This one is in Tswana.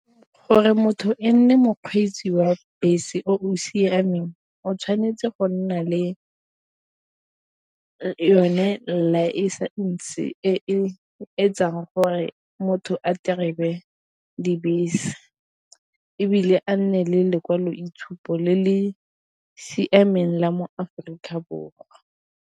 Gore motho e nne mokgweetsi wa bese o siameng o tshwanetse go nna le yone license e e etsang gore motho a terebe dibese, ebile a nne le lekwaloitshupo le le siameng la mo Aforika Borwa.